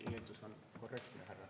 Teie eeldus on korrektne.